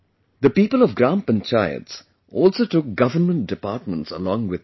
The people of Gram Panchayats also took government departments along with them